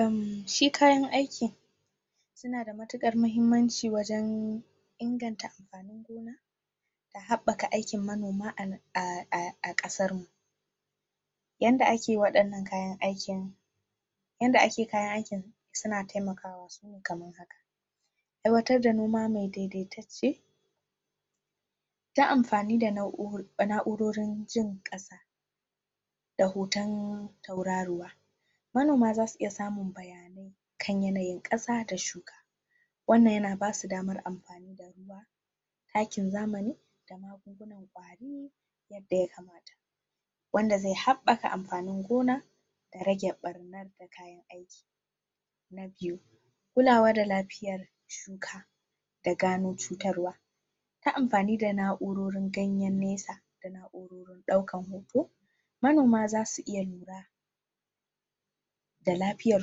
uhmmm shi kayan aikin yana da mutukar muhimmanci wajan inganta amfanin gona da haɓaka aikin manoma a ƙasar mu yanda ake waɗannan kayan aikin yada ake kayan aikin su na taimakawa sune kamman aiwtar da numa me daidaitace ta amfani da naurorin jin ƙasa da hoton tauraruwa manoma zasu iya samun bayanai kan yanayin ƙasa da shuka wannan yana basu daman amfani da ruwa takin zamani da magungunan ƙwari yadda ya kamata wanda ze haɓaka amfanin gona da rage ɓarnar da kayan aiki na biyu kulawa da lafiyar shuka da da gano cutawar ta amfani da naurorin ganyen nesa da naurorin ɗaukan hoto manoma zasu iya lura da lafiyar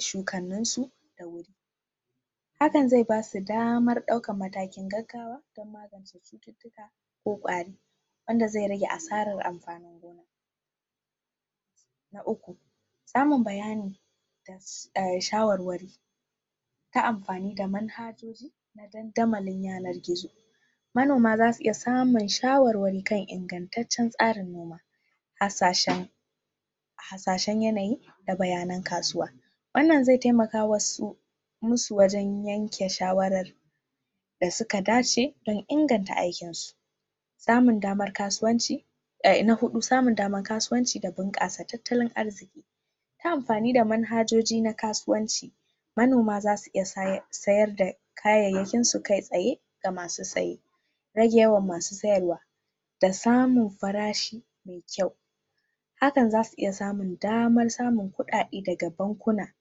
shukanninsu da wuri hakan ze basu damar ɗaukar matakin gagawa dan magance cuttutuka ko ƙwari wanda ze rage assarar amfanin gona na uku samun bayani da shawarwari ta amfani da manhajoji na dandamalin yanar gizo manomi za su iya samun shawarwari kan imgantacen tsarin noma hasashen hasashen yanayi da bayanan kasuwa wannan ze taimaka musu musu wajan yanka shawarar da suka dace dan inganta aikin su samun daman kasuwanci na huɗu samun daman kasuwanci da bunƙasa talttalin arziki ta amfani da manhajoji na kasuwanci manoma zasu iya sayar da kayyayakinsu kai tsaye ga masu tsaye rage wa ma masu siyarwa da samun farashi me kyau hakan zasu iya samun damar samun ƙuɗaɗe daga bankuna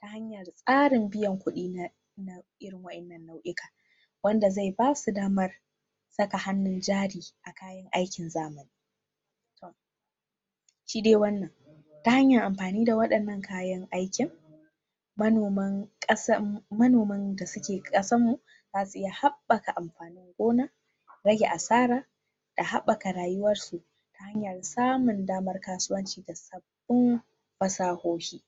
ta hanya da tsarin biyan kuɗi irin wayannan nau'ika wanda ze basu damar saka hannun jari a kayan aikin zamani shi de wanan ta hanyar amfani da waɗanan kayan aikin manoman manoman da suke ƙasanmu zasu iya haɓaka amfanin gona rage asara da haɓaka rayuwarsu ta hanyar samun daman kasuwanci da sabbin fasahohi.